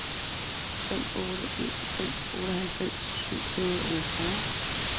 fem otte en fem otteoghalvtreds syv hundrede og otteogfyrre